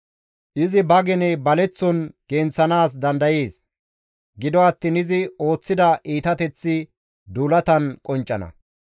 Izi ba gene baleththon genththanaas dandayees; gido attiin izi ooththida iitateththi duulatan qonccana.